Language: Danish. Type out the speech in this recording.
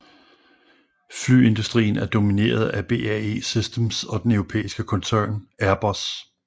Flyindustrien er domineret af BAE Systems og den europæiske koncern Airbus